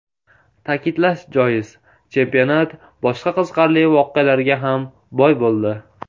Ta’kidlash joiz, chempionat boshqa qiziqarli voqealarga ham boy bo‘ldi.